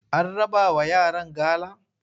An rabawa yaran gala?